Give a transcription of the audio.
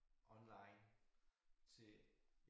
Online til